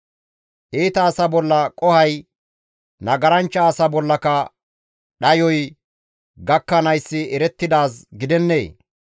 Iita asa bolla qohoy, nagaranchcha asa bollaka dhayoy gakkanayssi erettidaaz gidennee?